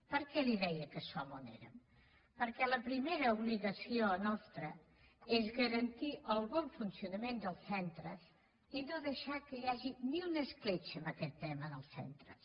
per què li deia que som on érem perquè la primera obligació nostra és garantir el bon funcionament dels centres i no deixar que hi hagi ni una escletxa en aquest tema en els centres